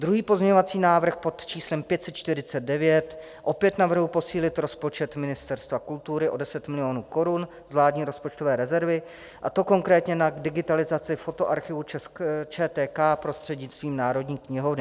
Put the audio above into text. Druhý pozměňovací návrh pod číslem 549 - opět navrhuji posílit rozpočet Ministerstva kultury o 10 milionů korun z vládní rozpočtové rezervy, a to konkrétně na digitalizaci fotoarchivu ČTK prostřednictvím Národní knihovny.